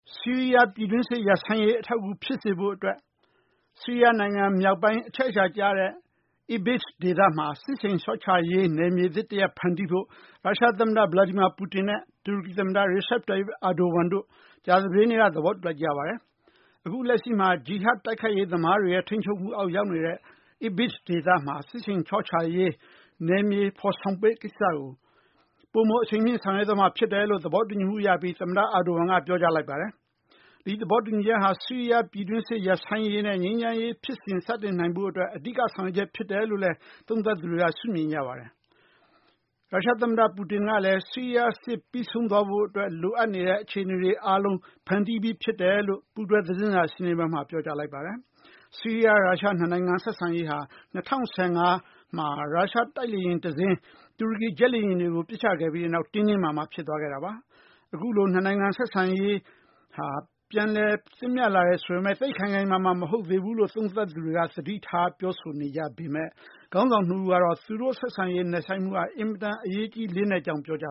ဆီးရီးယားပြည်တွင်းစစ်ရပ်စဲရေးအထောက်အကူဖြစ်စေဖို့အတွက် ဆီးရီးယားနိုင်ငံ မြောက်ပိုင်းအချက်အချာကျတဲ့ Idlib ဒေသမှာ စစ်ဆင်လျော့ချရေး နယ်မြေသစ်ဖန်တီးဖို့အတွက် ရုရှား သမ္မတ Vladimir Putin နဲ့တူရကီသမ္မတ Recep Tayyip Erdogan တို့ ကြာသပတေးနေ့က သဘောတူလိုက်ကြပါတယ်။ အခုလက်ရှိမှာဂျီဟတ် တိုက်ခိုက်ရေးသမားတွေရဲ့ ထိန်းချုပ်မူအောက်ရောက်နေတဲ့ Idlib ဒေသမှာ စစ်ဆင်လျော့ချရေး နယ်မြေဖော်ဆောင်မယ့်ကိစ္စကို ပိုမိုအရှိန်မြင့်ဆောင်ရွက်သွားမှာ ဖြစ်တယ်လို့ သဘောတူညီမူရပြီး တူရကီသမ္မတ Erdogan ကပြောကြားလိုက်ပါတယ်။ ဒီသဘောတူညီချက်ဟာ ဆီးရီးယားပြည်တွင်းစစ်ရပ်ဆိုင်းရေး နဲ့ ငြိမ်းချမ်းရေးဖြစ်စဉ် စတင်နိုင်ဖို့အတွက် အဓိက ဆောင်ရွက်ချက်ဖြစ်တယ်လို့လဲ သုံးသပ်သူတွေက ရှုမြင်ကြပါတယ်။ ရုရှား သမ္မတ Putin ကလည်း ဆီးရီးယားစစ်ပြီးဆုံးသွားဖို့အတွက် လိုအပ်နေတဲ့အခြေအနေတွေအားလုံး ဖန်တီးပြီးဖြစ်တယ်လို့ ပူးတွဲသတင်းစာရှင်းလင်းပွဲမှာ ပြောကြားလိုက်ပါတယ်။ ဆီးရီးယား ရုရှား ၂ နိုင်ငံ ဆက်ဆံရေးဟာ ၂၀၁၅ မှာ ရုရှား တိုက်လေယာဉ်တစင်း တူရကီ ဂျက်လေယာဉ်တွေကို ပစ်ချခဲ့ပြီးတဲ့နောက် တင်းတင်းမာမာဖြစ်သွားခဲ့တာပါ။ အခုလို ၂ နိုင်ငံ ဆက်ဆံရေးဟာ ပြန်လည်သင့်မြတ်လာတယ်ဆိုပေမယ့် သိပ်ခိုင်ခိုင်မာမာ မဟုတ်သေးဘူးလို့ သုံးသပ်သူတွေက သတိထားပြောဆိုနေပေမယ့် ခေါင်းဆောင် ၂ ဦးကတော့ သူတို့ ဆက်ဆံရေးဟာ အင်မတန်အရေးကြီးလေးနက်ကြောင်း ပြောကြ